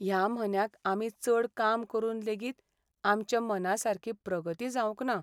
ह्या म्हन्याक आमी चड काम करून लेगीत आमच्या मनासारकी प्रगती जावंक ना.